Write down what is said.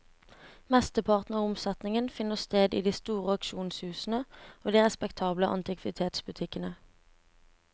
Mesteparten av omsetningen finner sted i de store auksjonshusene og de respektable antikvitetsbutikkene.